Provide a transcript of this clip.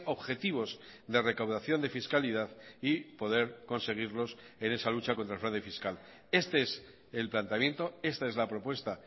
objetivos de recaudación de fiscalidad y poder conseguirlos en esa lucha contra el fraude fiscal este es el planteamiento esta es la propuesta